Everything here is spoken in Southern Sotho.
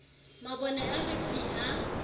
mabone a re fi ha